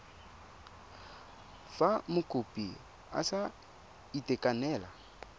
fa mokopi a sa itekanela